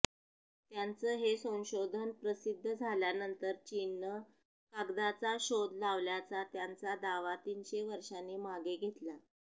त्यांचं हे संशोधन प्रसिद्ध झाल्यानंतर चीननं कागदाचा शोध लावल्याचा त्यांचा दावा तीनशे वर्षांनी मागे घेतला